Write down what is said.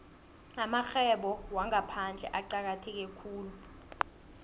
amarhwebo wangaphandle acakatheke khulu